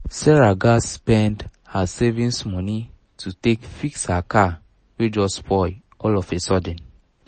sarah gats spends her savings money to take fix her car wey just spoil all of a sudden